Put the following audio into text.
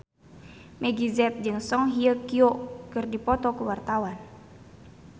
Meggie Z jeung Song Hye Kyo keur dipoto ku wartawan